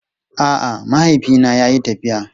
A'a, mahaifina yayi tafiya.